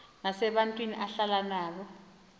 nesabantu ahlala nabo